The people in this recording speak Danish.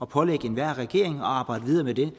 pålægge enhver regering at arbejde videre med det